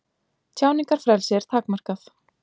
Tjáningarfrelsi er takmarkað